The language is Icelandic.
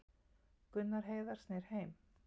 Gunnar Heiðar snýr heim